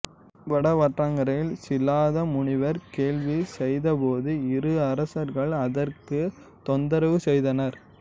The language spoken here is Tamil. வடவாற்றங்கரையில் சிலாத முனிவர் வேள்வி செய்தபோது இரு அசுரர்கள் அதற்குத் தொந்தரவு செய்தனர்